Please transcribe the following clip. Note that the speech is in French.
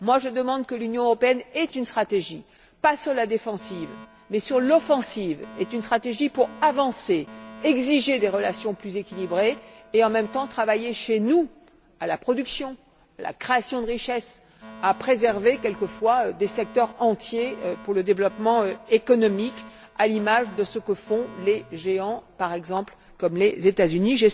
Je demande que l'Union Européenne ait également une stratégie, non pas sur la défensive, mais sur l'offensive, une stratégie pour avancer, exiger des relations plus équilibrées et, en même temps, travailler chez nous à la production, à la création de richesses, et préserver parfois des secteurs entiers pour le développement économique, à l'image de ce que font les géants comme, par exemple, les États Unis.